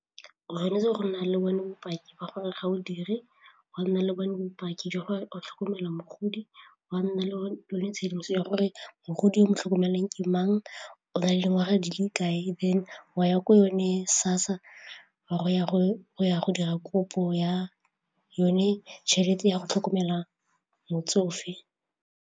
O tshwanetse go nna le bone bopaki ba gore ga bo dire, wa nna le bone bopaki jwa gore o tlhokomelwa mogodi, wa nna le bone yone tshedimoso ya gore mogodi mo tlhokomeleng ke mang o nale dingwaga di le kae then wa ya ko yone SASSA go ya go ya go dira kopo ya yone tšhelete ya go tlhokomela motsofe.